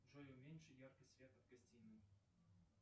джой уменьши яркость света в гостиной